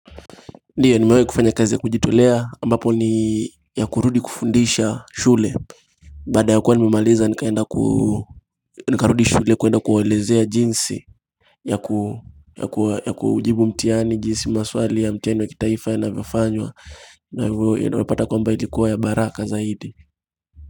Ndiyo nimewahi kufanya kazi ya kujitolea ambapo ni ya kurudi kufundisha shule Baada ya kuwa nimemaliza nikaenda nikarudi shule kuenda kuwaelezea jinsi ya kujibu mtihani, jinsi maswali ya mtihani wa kitaifa yanavyofanywa na hivyo unapata kwamba ilikuwa ya baraka zaidi.